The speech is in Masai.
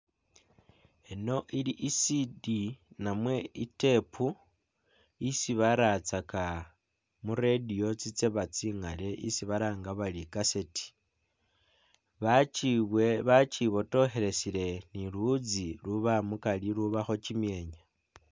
Ino ili e C D namwe i'tape isi baratsaka mu radio itseba tsikhaale isi balanga bari e'cassette, bakyi bakyibotokhelesele ne luwuutsi uluuba mukari, ulubakho kimyenya.